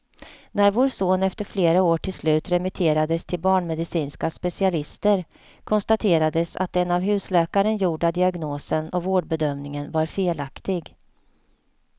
När vår son efter flera år till slut remitterades till barnmedicinska specialister, konstaterades att den av husläkaren gjorda diagnosen och vårdbedömningen var felaktig.